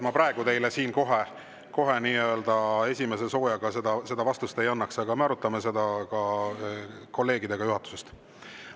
Ma praegu teile siin kohe esimese soojaga seda vastust ei annaks, aga me arutame seda kolleegidega juhatusest.